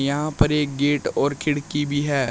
यहां पर एक गेट और खिड़की भी है।